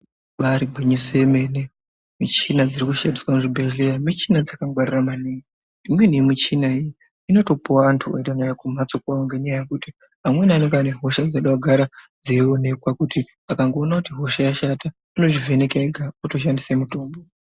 Ibari gwinyiso yemene michina dziri kushandiswa kuzvibhedhleya michina Dzakangwarira maningi imweni yemuchina iyi inotopuwe anyu kuend anayo kumhatso kwawo ngenyaya yekuti vamweni vanenga vane hosha dzoda kugara dzeionekwa kuti akangoona kuti hosha yashata unozvivheneka ega otoshandise mitombo.